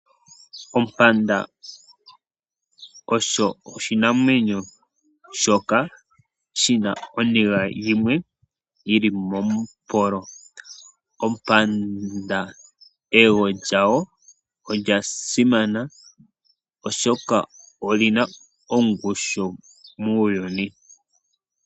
Ompanda osho oshinamwemyo shoka shina oniga yimwe yili momupolo. Ompanda eyego lyawo olya simana oshoka olina ongushu muuyuni.